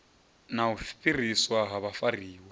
na u fhiriswa ha vhafariwa